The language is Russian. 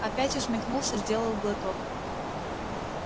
опять усмехнулся сделал глоток